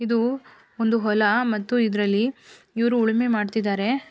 ಇದು ಒಂದು ಹೊಲ ಮತ್ತು ಇದರಲ್ಲಿ ಇವರು ಉಳುಮೆ ಮಾಡ್ತಿದ್ದಾರೆ.